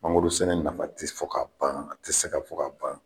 Mangoro sɛnɛ nafa tɛ fɔ ka ban a tɛ se ka fɔ ka ban.